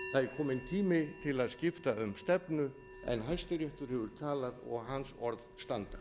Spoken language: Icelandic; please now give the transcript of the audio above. kominn tími til að skipta um stefnu en hæstiréttur hefur talað og hans orð standa